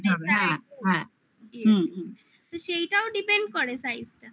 তো সেইটাও depend করে size